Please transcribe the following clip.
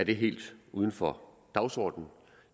helt uden for dagsordenen